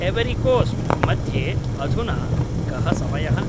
ऐवरिकोस्ट् मध्ये अधुना कः समयः